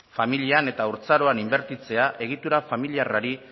familian eta haurtzaroan inbertitzea egitura familiarrari